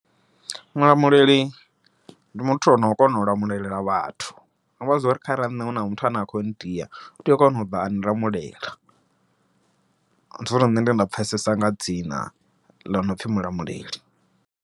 Mulamuleli ndi muthu ono kona u lamulela vhathu, zwiamba zwori kharali nṋe huna muthu ane a kho ndia u tea u kona u ḓa a lamulela, ndi zwone zwine nṋe nda pfhesesa nga dzina ḽo no pfhi Mulamuleli.